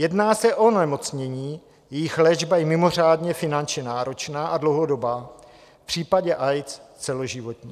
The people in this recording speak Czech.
Jedná se o onemocnění, jejichž léčba je mimořádně finančně náročná a dlouhodobá, v případě AIDS celoživotní.